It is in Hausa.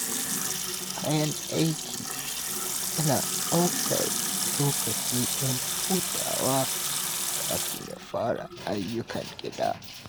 Bayan aiki, yana ɗaukar lokaci don hutawa kafin ya fara ayyukan gida.